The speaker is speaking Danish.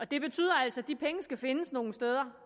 det betyder altså at de penge skal findes nogle steder